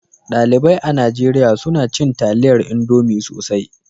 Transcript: Dalibai a Nijeriya suna cin taliyar Indomi sosai.